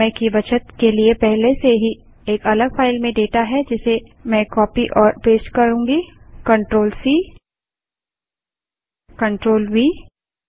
समय की बचत के लिए पहले से ही एक अलग फाइल में डेटा है जिसे मैं कॉपी और पेस्ट CTRLC CTRLV करती हूँ